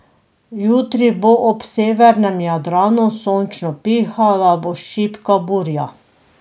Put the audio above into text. Jutri bo ob severnem Jadranu sončno, pihala bo šibka burja.